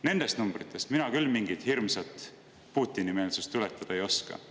Nendest numbritest mina küll mingit hirmsat Putini-meelsust tuletada ei oska.